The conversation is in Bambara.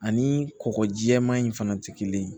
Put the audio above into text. Ani kɔgɔ jɛman in fana tɛ kelen ye